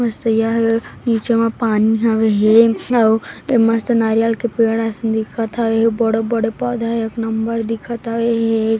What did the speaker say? तरिया हे नीचे पानी हवे हे ऐ मस्त नारियल के पेड़ असन दिखत हवे और बड़े बड़े पद हैं एक नम्बर दिखत हे।